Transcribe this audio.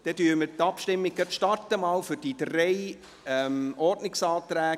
Dann starten wir mit der Abstimmung über diese drei ersten Ordnungsanträge.